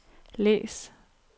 læs